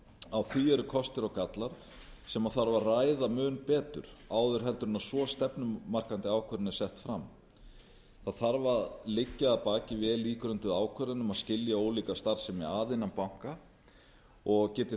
á því eru kostir og gallar sem þarf að ræða mun betur áður en svo stefnumarkandi ákvörðun er sett fram það þarf að liggja að baki vel ígrunduð ákvörðun um að skilja ólíka starfsemi að innan banka og